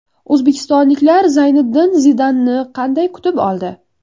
O‘zbekistonliklar Zayniddin Zidanni qanday kutib oldi?